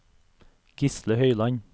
Gisle Høiland